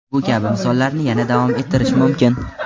Bu kabi misollarni yana davom ettirish mumkin.